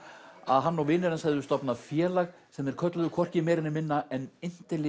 að hann og vinir hans hefðu stofnað félag sem þeir kölluðu hvorki meira né minna en